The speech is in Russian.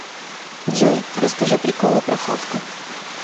джой расскажи приколы про хавку